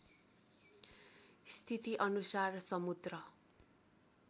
स्थिति अनुसार समुद्र